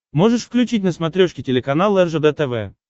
можешь включить на смотрешке телеканал ржд тв